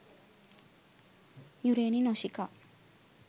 yureni noshika